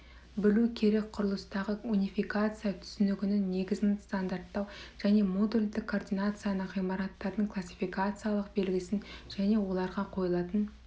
білу керек құрылыстағы унификация түсінігінің негізін стандарттау және модульдік координацияны ғимараттардың классификациялық белгісін және оларға қойылатын